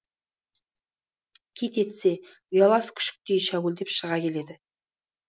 қит етсе ұялас күшіктей шәуілдеп шыға келеді